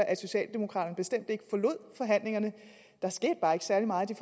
at socialdemokraterne bestemt ikke forlod forhandlingerne der skete bare ikke særlig meget i